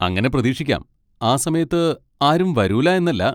അങ്ങനെ പ്രതീക്ഷിക്കാം, ആ സമയത്ത് ആരും വരൂല എന്നല്ല.